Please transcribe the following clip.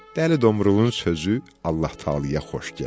Dəli Domruğun sözü Allah-Taalaya xoş gəldi.